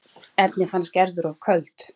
Erni fannst Gerður of köld.